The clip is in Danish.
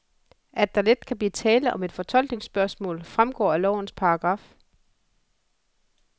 At der let kan blive tale om et fortolkningsspørgsmål, fremgår af lovens par.